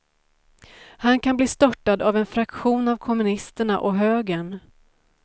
Han kan bli störtad av en fraktion av kommunisterna och högern.